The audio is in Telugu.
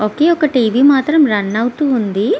ఒకే ఒక టీవీ మాత్రం రన్ అవుతుంది.